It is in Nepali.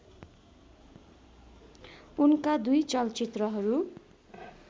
उनका दुई चलचित्रहरू